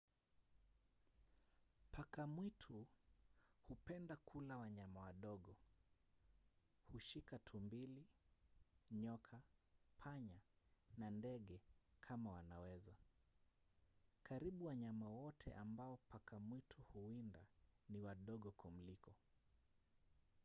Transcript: paka mwitu hupenda kula wanyama wadogo. hushika tumbili nyoka panya na ndege kama wanaweza. karibu wanyama wote ambao paka mwitu huwinda ni wadogo kumliko